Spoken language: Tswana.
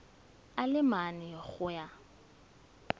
a le mane go ya